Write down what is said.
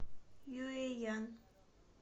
юэян